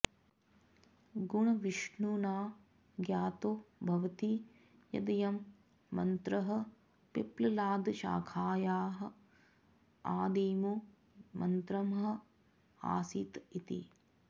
गुणविष्णुना ज्ञातो भवति यदयं मन्त्रः पिप्पलादशाखायाः अादिमो मन्त्रः अासीत् इति